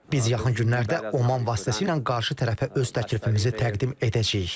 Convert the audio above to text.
Biz yaxın günlərdə Oman vasitəsilə qarşı tərəfə öz təklifimizi təqdim edəcəyik.